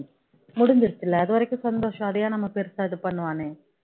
முடிஞ்சிருச்சுல அது வரைக்கும் சந்தோஷம் அதை என் நம்ம பெருசா இது பண்ணனும்